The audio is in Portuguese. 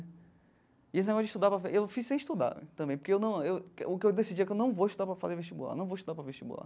E esse negócio de estudar para, eu fiz sem estudar também, porque eu não eu que o que eu decidi é que eu não vou estudar para fazer vestibular, não vou estudar para vestibular.